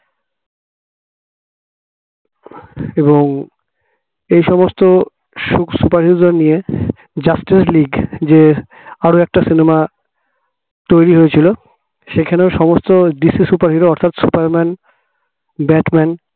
এবং এই সমস্ত সুক superhero নিয়ে justice লিগ যে আরো একটা cinema তৈরি হয়েছিল সেখানেও সমস্ত DC superhero অর্থাৎ super man, bat man